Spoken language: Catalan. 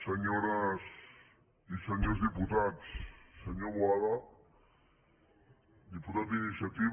senyores i senyors diputats senyor boada diputat d’iniciativa